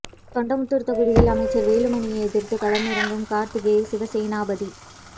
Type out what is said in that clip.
தொண்டாமுத்தூர் தொகுதியில் அமைச்சர் வேலுமணியை எதிர்த்து களம் இறங்கும் கார்த்திகேய சிவசேனாபதி